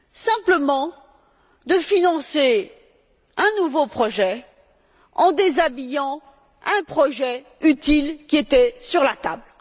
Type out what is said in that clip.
Simplement de financer un nouveau projet en déshabillant un projet utile qui était sur la table.